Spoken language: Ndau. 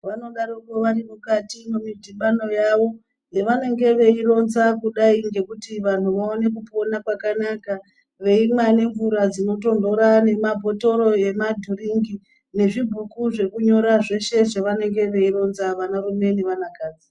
Vanodaroko varimukati memidhibano yavo yevanenge veironza kudai ngekuti vanhu vaone kupona kwakanaka, veimwa nemvura dzinotonhora nemabhotoro ema dhiringi nezvi bhuku zvekunyora zveshe zvavanenge veironza vanarume nevana kadzi.